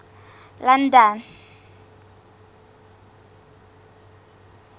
london